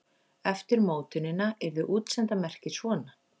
Eftir mótunina yrði útsenda merkið svona: